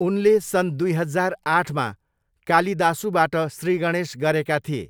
उनले सन् दुई हजार आठमा कालिदासुबाट श्रीगणेश गरेका थिए।